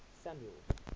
samuel's